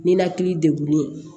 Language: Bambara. Ninakili degunnen